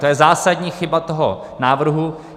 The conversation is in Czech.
To je zásadní chyba toho návrhu.